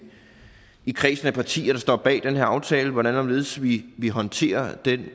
i kredsen af partier der står bag den her aftale hvordan og hvorledes vi vi håndterer